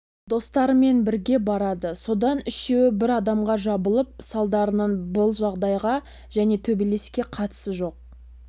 достарымен бірге барады содан үшеуі бір адамға жабылып салдарынан бұл жағдайға және төбелеске қатысы жоқ